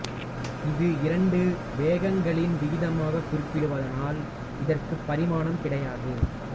இது இரண்டு வேகங்களின் விகிதமாகக் குறிக்கப்படுவதனால் இதற்குப் பரிமாணம் கிடையாது